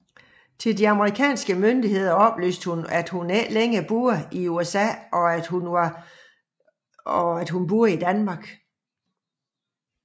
Til de amerikanske myndigheder oplyste hun at hun ikke længere boede i USA og at hun var bosiddende i Danmark